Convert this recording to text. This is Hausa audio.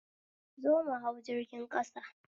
Zo mu hau jirgin ƙasa